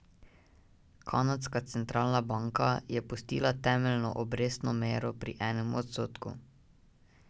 Kanadska centralna banka je pustila temeljno obrestno mero pri enem odstotku.